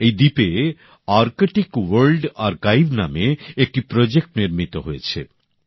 এই দ্বীপে Arctic world archive নামে একটি প্রকল্প নির্মিত হয়েছে